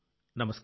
నమస్కారం